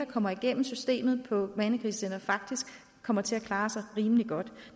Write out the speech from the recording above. kommer igennem systemet på mandekrisecentre faktisk kommer til at klare sig rimelig godt